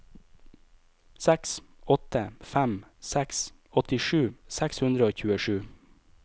seks åtte fem seks åttisju seks hundre og tjuesju